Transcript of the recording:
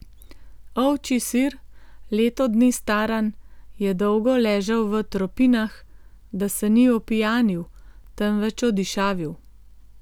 Ovčji sir, leto dni staran, je dolgo ležal v tropinah, da se ni opijanil, temveč odišavil.